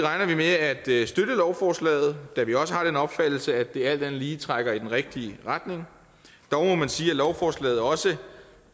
i at støtte lovforslaget da vi også har den opfattelse at det alt andet lige trækker i den rigtige retning dog må man sige at lovforslaget også